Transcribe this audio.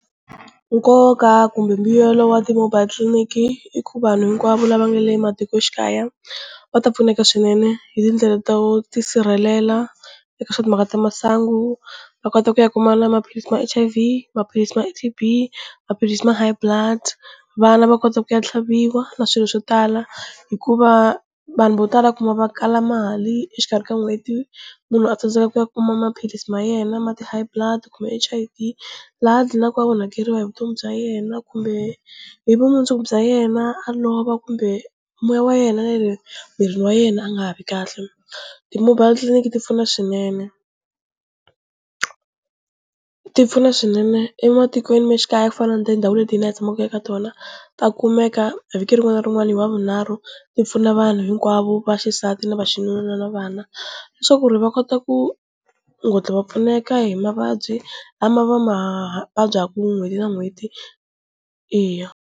Nkoka kumbe mbuyelo wa ti-mobile tliliniki i ku vanhu hinkwavo lava nga le matikoxikaya va ta pfuneka swinene hi tindlela to tisirhelela eka swa timhaka ta masangu va kota ku ya kuma na maphilisi ma H_I_V, maphilisi ma T_B, maphilisi ma high blood vana va kota ku ya tlhaviwa na swilo swo tala hikuva vanhu vo tala u kuma va kala mali exikarhi ka n'hweti munhu a tsandzeka ku ya kuma maphilisi ma yena ma ti-high blood kumbe H_I_V laha dlinaka a onhakeriwa hi vutomi bya yena kumbe hi vumundzuku bya yena a lova kumbe moya wa yena na le mirini wa yena a nga ha vi kahle, ti-mobile titliliniki ti pfuna swinene ti pfuna swinene ematikweni male xikaya ku fana na tindhawini leti hi na hi tshamaka eka tona ta kumeka vhiki rin'wana na rin'wana hi wavunharhu ti pfuna vanhu hinkwavo va xisati na va xinuna na vana leswaku ri va kota ku nghondlo va pfuneka hi mavabyi lama va ma vabyaka n'hweti na n'hweti, eya.